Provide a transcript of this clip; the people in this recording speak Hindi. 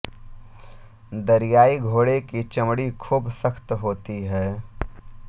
दरियाई घोड़े की चमड़ी खूब सख्त होती है